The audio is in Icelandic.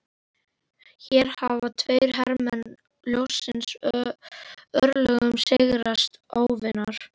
Hér ráða tveir hermenn ljóssins örlögum sigraðs óvinar.